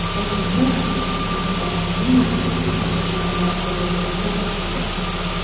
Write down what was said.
Toshkentda rassom Usmon Hosilning Navro‘zga bag‘ishlangan ko‘rgazmasi ochildi.